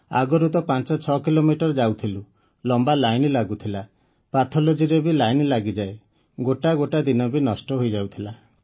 ଆଗରୁ ତ ପାଞ୍ଚ ଛଅ କିଲୋମିଟର ଯାଉଥିଲୁ ଲମ୍ବା ଲାଇନ୍ ଲାଗୁଥିଲା ପାଥୋଲୋଜି ରେ ବି ଲାଇନ୍ ଲାଗିଯାଏ ଗୋଟା ଗୋଟା ଦିନ ବି ନଷ୍ଟ ହୋଇଯାଉଥିଲା